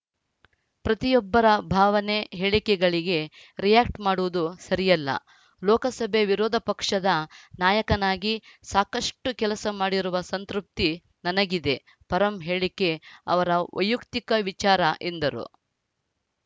ಪ್ರತಿಯೊಬ್ಬರ ಭಾವನೆ ಹೇಳಿಕೆಗಳಿಗೆ ರಿಯಾಕ್ಟ್ ಮಾಡುವುದು ಸರಿಯಲ್ಲ ಲೋಕಸಭೆ ವಿರೋಧ ಪಕ್ಷದ ನಾಯಕನಾಗಿ ಸಾಕಷ್ಟುಕೆಲಸ ಮಾಡಿರುವ ಸಂತೃಪ್ತಿ ನನಗಿದೆ ಪರಂ ಹೇಳಿಕೆ ಅವರ ವೈಯಕ್ತಿಕ ವಿಚಾರ ಎಂದರು